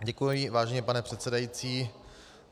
Děkuji, vážený pane předsedající.